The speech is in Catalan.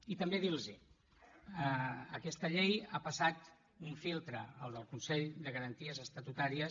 i també dir los ho aquesta llei ha passat un filtre el del consell de garanties estatutàries